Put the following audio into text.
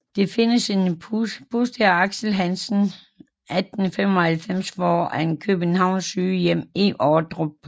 Der findes en buste af Aksel Hansen 1895 foran Københavns Sygehjem i Ordrup